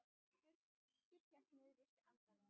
Birkir hélt niðri í sér andanum.